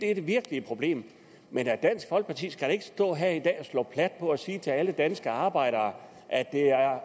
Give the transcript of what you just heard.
er det virkelige problem men dansk folkeparti skal da ikke stå her i dag og slå plat på det og sige til alle danske arbejdere at det